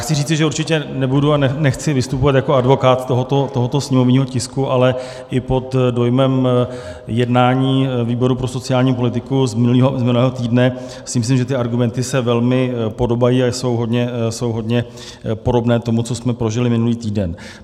Chci říci, že určitě nebudu a nechci vystupovat jako advokát tohoto sněmovního tisku, ale i pod dojmem jednání výboru pro sociální politiku z minulého týdne si myslím, že ty argumenty se velmi podobají a jsou hodně podobné tomu, co jsme prožili minulý týden.